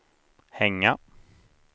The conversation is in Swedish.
hänga